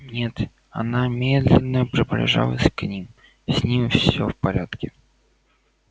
нет она медленно приближалась к ним с ним все в порядке